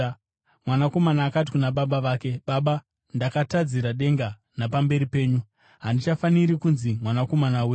“Mwanakomana akati kuna baba vake, ‘Baba, ndakatadzira denga napamberi penyu. Handichafaniri kunzi mwanakomana wenyu.’